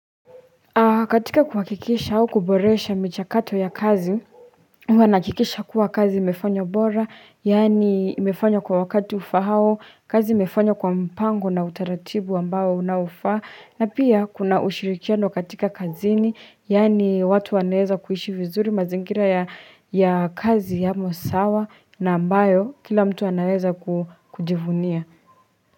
Katika kuhakikisha au kuboresha michakato ya kazi, huwanahakikisha kuwa kazi imefanywa bora, yaani imefanywa kwa wakati ufaao, kazi imefanywa kwa mpango na utaratibu ambao unaofa, na pia kuna ushirikiano katika kazini, yaani watu wanaweza kuishi vizuri mazingira ya kazi yamo sawa na ambayo kila mtu anaweza kujivunia.